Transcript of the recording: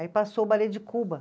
Aí passou o balê de Cuba.